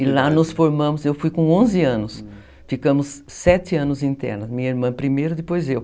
E lá nos formamos, eu fui com onze anos, uhum, ficamos sete anos internas, minha irmã primeiro, depois eu.